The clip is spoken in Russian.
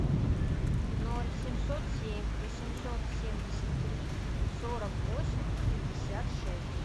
ноль семьсот семь восемьсот семьдесят три сорок восемь пятьдесят шесть